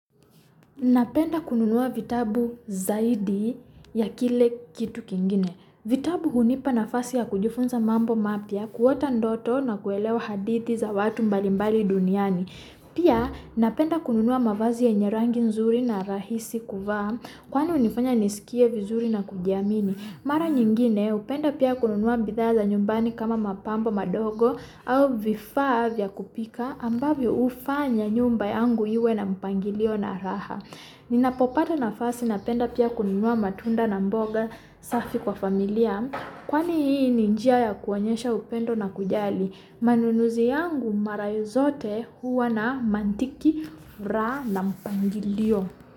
Napenda kununuwa vitabu zaidi ya kile kitu kine. Vitabu kunipa na fasi ya kujufunza mambo mapti ya kuota ndoto na kuelewa hadithi za watu mbali mbali duniani. Pia napenda kununuwa mavazi ya nyerangin zuri na rahisi kuva, kuwanu nifanya nisikie vizuri na kujiamini. Mara nyingine, upenda pia kununuwa bithaya za nyumbani kama mapamba ma dogo, au vifav ya kupika, ambavyo ufanya nyumba yangu iwe na mpangilio na raha. Nina popata na fasi na penda pia kununuwa matunda na mboga safi kwa familia, kuwani hii ninjia ya kuwanyesha upendo na kujali. Manunuzi angu mara yu zote huwa na mantiki rha na mpangilio.